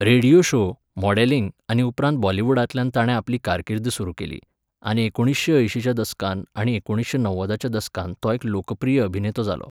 Radio show, modelling आनी उपरांत बॉलिवूडांतल्यान ताणें आपली कारकीर्द सुरू केली, आनी एकुणिशें अंयशींच्या दसकांत आनी एकुणिशें णव्वदाच्या दसकांत तो एक लोकप्रिय अभिनेतो जालो.